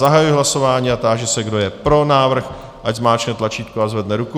Zahajuji hlasování a táži se, kdo je pro návrh, ať zmáčkne tlačítko a zvedne ruku.